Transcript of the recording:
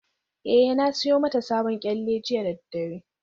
Eh, na siyo mata sabon kyalle jiya da daddare